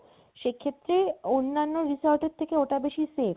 সেক্ষেত্রে অন্নান্য resort এর চাইতে ওটা বেশি safe